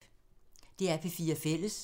DR P4 Fælles